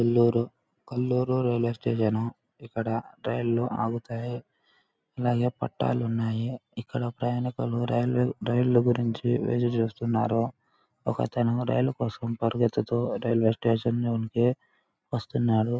Nellore Kallur railway station . ఇక్కడ రైళ్లు ఆగుతాయి. అలాగే పట్టాలున్నాయి. ఇక్కడ ప్రయాణికులు రైలు రైళ్లు గురించి ఎదురు చూస్తున్నారు. ఒకతను రైలు కోసం పరిగెత్తుతూ రైల్వే స్టేషన్ లోనికి వస్తున్నాడు.